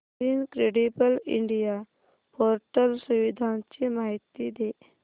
incredible India portal सुविधांची माहिती दे